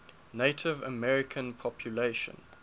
native american population